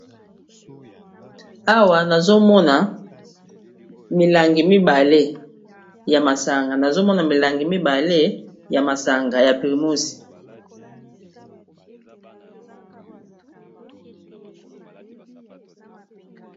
Awa nazomona milangi mibale ya masanga, nazomona milangi mibale ya masanga ya primus